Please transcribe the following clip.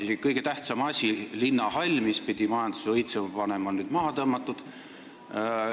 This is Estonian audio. Isegi kõige tähtsam asi, linnahall, mis pidi majanduse õitsema panema, on nüüd maha tõmmatud.